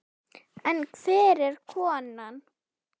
En hver er konan?